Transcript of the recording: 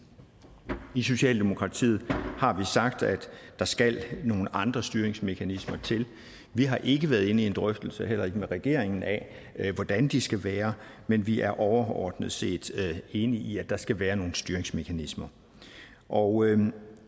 i socialdemokratiet har vi sagt at der skal nogle andre styringsmekanismer til vi har ikke været inde i en drøftelse heller ikke med regeringen af hvordan de skal være men vi er overordnet set enige i at der skal være nogle styringsmekanismer og